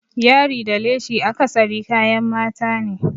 Yari da leshi akasari kayan mata ne.